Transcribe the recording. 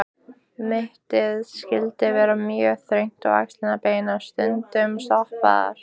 Mittið skyldi vera mjög þröngt og axlirnar beinar, stundum stoppaðar.